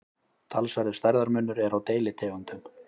talsverður stærðarmunur er á deilitegundum